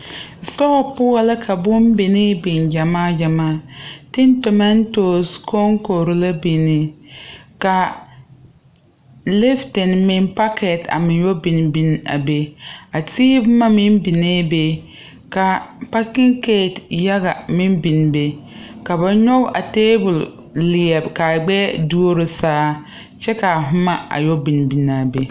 Sitɔɔ poɔ la ka bon binee biŋ gyamaa gyamaa tin tomatos kɔŋkɔre la bin kaa liftin meŋ pakɛt a meŋ yɔ bin bin a be a tee boma meŋ binee be kaa pakinkate yaga meŋ bin be ka ba nyoge a tabol leɛre kaa gbɛɛ duoro saa kyɛ kaa boma a yɛ binbinaa be.